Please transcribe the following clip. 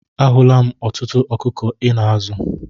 A hụla m ọtụtụ ọkụkọ Ị na-azụ.